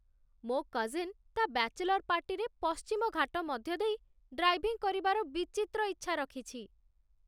ମୋ କଜିନ୍ ତା' ବ୍ୟାଚେଲର୍ ପାର୍ଟିରେ ପଶ୍ଚିମ ଘାଟ ମଧ୍ୟ ଦେଇ ଡ୍ରାଇଭିଂ କରିବାର ବିଚିତ୍ର ଇଚ୍ଛା ରଖିଛି